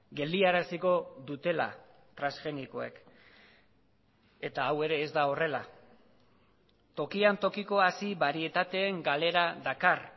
geldiaraziko dutela transgenikoek eta hau ere ez da horrela tokian tokiko hazi barietateen galera dakar